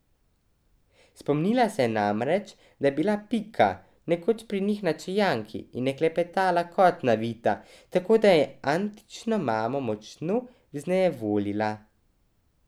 Spomnila se je namreč, da je bila Pika nekoč pri njih na čajanki in je klepetala kot navita, tako da je Aničino mamo močno vznejevoljila.